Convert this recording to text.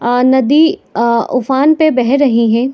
आ नदी आ उफान पे बह रही है।